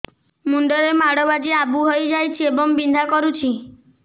ମୁଣ୍ଡ ରେ ମାଡ ବାଜି ଆବୁ ହଇଯାଇଛି ଏବଂ ବିନ୍ଧା କରୁଛି